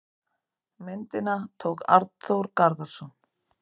Myndina tók Arnþór Garðarsson.